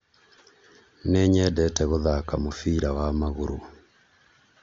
nĩnyendete gũthaka mũbira wa magũrũ